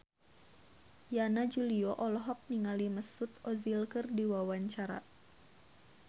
Yana Julio olohok ningali Mesut Ozil keur diwawancara